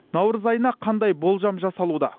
наурыз айына қандай болжам жасалуда